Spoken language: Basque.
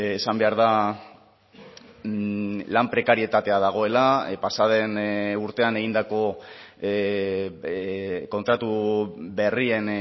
esan behar da lan prekarietatea dagoela pasa den urtean egindako kontratu berrien